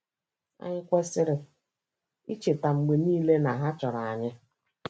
Anyị kwesịrị icheta mgbe niile na ha chọrọ anyị.